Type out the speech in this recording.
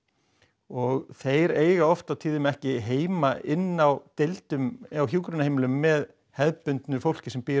og þeir eiga oft á tíðum ekki heima inn á deildum á hjúkrunarheimilum með hefðbundnu fólki sem býr